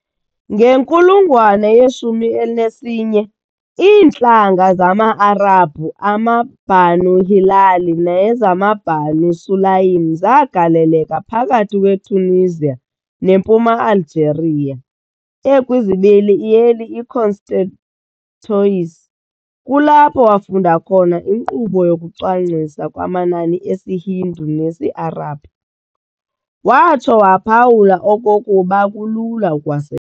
Ngenkulungwane ye-11, iintlanga zama-Arabhu amaBanu Hilal nezamaBanu Sulaym zagaleleka phakathi kwe-Tunisia nempuma-Algeria i-Constantois. Kulapho wafunda khona inkqubo yokucwangciswa kwamanani esiHindu nesi-Arabhu, watsho waphawula okokuba kulula ukuwase.